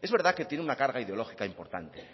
es verdad que tiene una carga ideológica importante